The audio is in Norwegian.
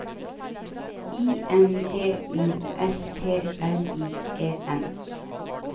I N D U S T R I E N